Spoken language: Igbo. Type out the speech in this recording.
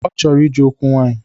Ọ chọrọ ije okwu nwaanyị.